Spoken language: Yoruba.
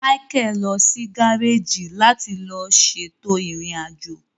Michael lọ si gareji láti lo ṣètò irin ajo